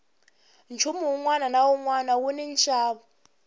nchumu wunwana na wunwana wuni nxavo